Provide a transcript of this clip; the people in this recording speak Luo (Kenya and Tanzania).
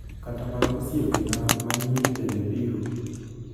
Kata mana osiepena ma nyiri bende biro.